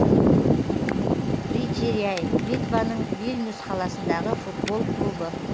ритеряй литваның вильнюс қаласындағы футбол клубы